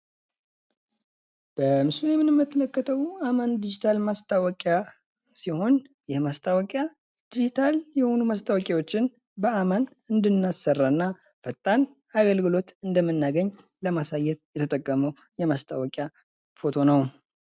በምስሉ ላይ የምንመልከተው አማን ዲጊታል ማስታወቂያ ሲሆን ፤ የማስታወቂያ ዲጂታል የሆኑ ማስታወቂያዎችን በአማን እንድናሰራ እና ፈጣን አገልግሎት እንደምናገኝ ለማሳየት የተጠቀመው የማስታወቂያ ፎቶ ነው።